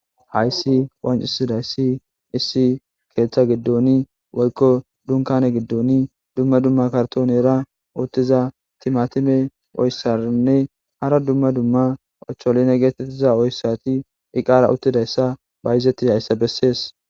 hayssi wancisidayssi issi keeththa giddoni woykko dunkane giddoni dumma dumma kartonera uttiza timatime oyssarinne hara dumma dumma acholine geetettiza oyssati iqaara uttidayssa bayizeti hayssa bessees